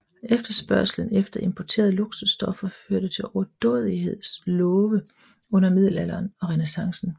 Efterspørgslen efter importerede luksusstoffer førte til overdådigheds love under middelalderen og renæssancen